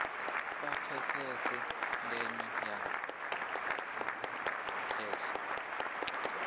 vha pfesese ndeme ya kheshe